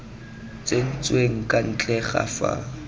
tsentsweng kwa ntle ga fa